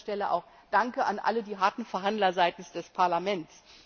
An dieser Stelle auch Danke an alle die harten Verhandler seitens des Parlaments!